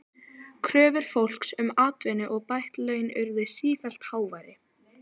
Kröfur fólks um atvinnu og bætt laun urðu sífellt háværari.